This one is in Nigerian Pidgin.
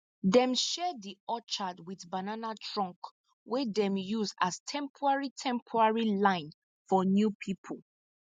dem share di orchard with banana trunk wey dem use as temporary temporary line for new people